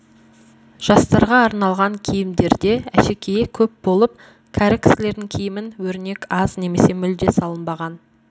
жастарға арналған киімдерде әшекейі көп болып кәрі кісілердің киімін өрнек аз немесе мүлде салынбаған